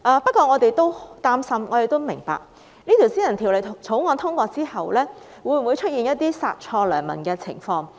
不過，我們擔心一旦通過《條例草案》，會否出現"殺錯良民"的情況？